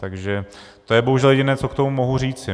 Takže to je bohužel jediné, co k tomu mohu říci.